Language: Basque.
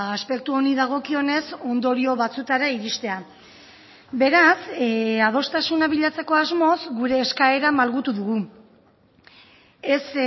aspektu honi dagokionez ondorio batzuetara iristea beraz adostasuna bilatzeko asmoz gure eskaera malgutu dugu ez